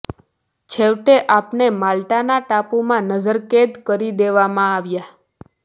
છેવટે આપને માલ્ટાના ટાપુમાં નજર કેદ કરી દેવામાં આવ્યા